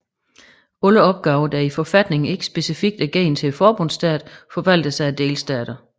Alle opgaver der i forfatningen ikke specifikt er givet til forbundsstaten forvaltes af delstaterne